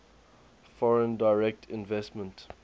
foreign direct investment